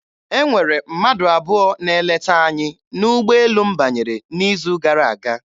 E nwere mmadụ abụọ na-eleta anyị n'ụgbọelu m banyere n'izu gara aga.